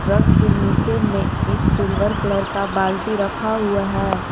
Truck के नीचे में एक सिल्वर कलर का बाल्टी रखा हुआ है।